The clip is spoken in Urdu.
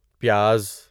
پیاز